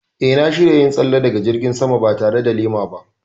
Eh, na shirya yin tsalle daga jirgin sama ba tare da lema ba.